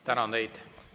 Tänan teid!